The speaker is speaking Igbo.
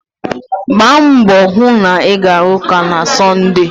Gbaa mbọ hụ na ị ga-aga ụka na Sọnde.